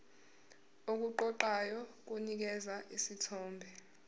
okuqoqayo kunikeza isithombe